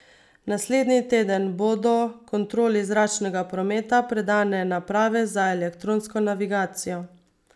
Naslednji teden bodo kontroli zračnega prometa predane naprave za elektronsko navigacijo.